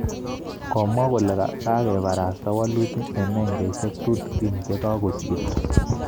Komwa kole kagebarasta walutik eng nengesyek tutigin che kagosirto